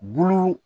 Bulu